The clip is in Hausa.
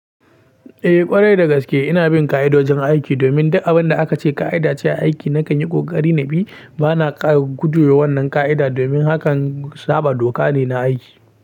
Eh ƙwarai dagaske ina bin ka'idojin aiki domin duk abinda aka ce ka'ida ce aiki nakan yi kokari na bi. Bana kara guduwa wannan ka'ida domin hakan saba doka ne na aiki.